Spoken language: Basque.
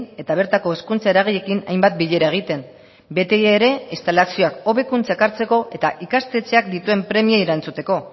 eta bertako hezkuntza eragileekin hainbat bilera egiten beti ere instalazioak hobekuntzak hartzeko eta ikastetxeak dituen premiei erantzuteko